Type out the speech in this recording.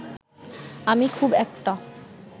আমি খুব একটা